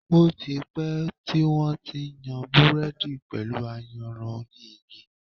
Ó ti pẹ́ tí wón ti ń yan Búrẹ́dì pẹ̀lú ayanran oní igi.